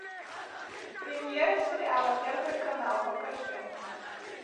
премьера сериала первый канал покажи